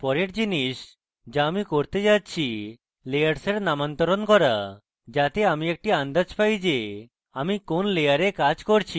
পরের জিনিস the আমি করতে যাচ্ছি layers নামান্তর করা যাতে আমি একটি আন্দাজ পাই the আমি কোন layer কাজ করছি